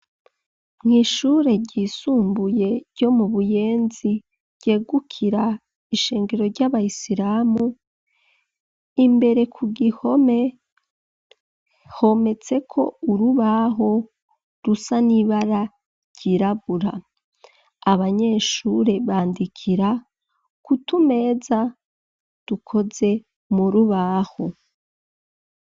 Mw'ishure ryisumbuye, ryo mu Buyenzi, ryegukira ishengero ry'abayisiramu, imbere ku gihome, hometseko urubaho, rusa n'ibara ryirabura; abanyeshure, bandikira ku tumeza dukoze mu rubaho.